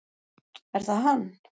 Er það hann?